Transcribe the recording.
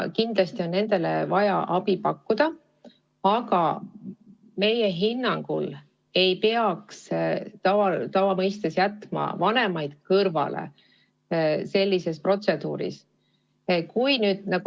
Kindlasti on nendele vaja abi pakkuda, aga meie hinnangul ei peaks vanemaid sellest protseduurist kõrvale jätma.